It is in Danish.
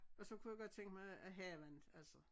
Og så kunne jeg godt tænke mig at haven altså